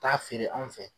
Taa feere anw fɛ